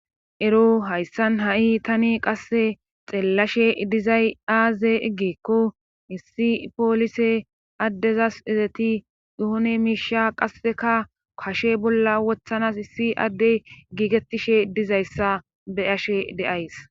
ero hayssan ha7i tani qasse xeellashe dizay aaze eggeekko hissi poolise addezas ezeti yohone miisha qasseka kashe bolla wothanas hissi adde giigettishe dizayssa be ashe deays.